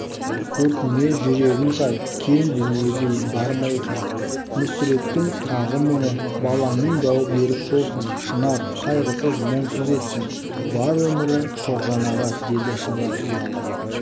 көркіңе жүрегің сай кең дүниедей бар ма екен мүсірептің тағы мұңы балаңның бауы берік болсын шынар қайғысыз мұңсыз етсін бар өмірі тоғжан аға деді шынар ұяла